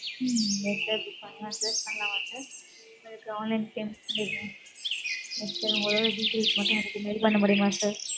ம், yes sir book பண்ணலாம் sir பண்ணலாமா sir உங்களுக்கு online payment ஏதும் yes sir உங்களோட details மட்டும் எனக்கு mail பண்ண முடியுமா sir.